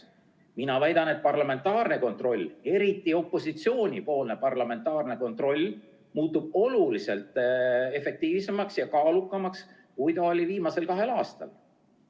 Mina väidan, et parlamentaarne kontroll, eriti opositsioonipoolne parlamentaarne kontroll, muutub oluliselt efektiivsemaks ja kaalukamaks, kui ta oli viimasel kahel aastal.